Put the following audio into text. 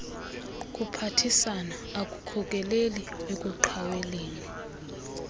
kuphathisana akukhokeleli ekuqhaweleni